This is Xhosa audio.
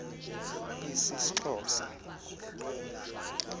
isisxhosa